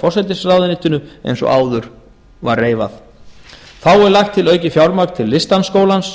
forsætisráðuneyti eins og áður var reifað þá er lagt til aukið fjármagn til listdansskólans